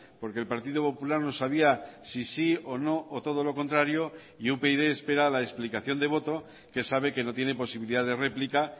porque el partido popular no sabía si sí o no o todo lo contrario y upyd espera la explicación de voto que sabe que no tiene posibilidad de replica